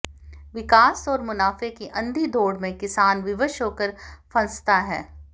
विकास और मुनाफे की अंधी दौड़ में किसान विवश होकर फंसता है